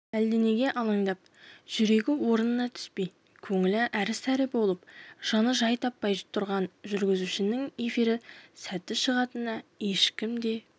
әлденеге алаңдап жүрегі орнына түспей көңілі әрі-сәрі болып жаны жай таппай тұрған жүргізушінің эфирі сәтті шығатынына ешкім де